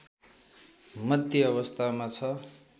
मध्य अवस्थामा छ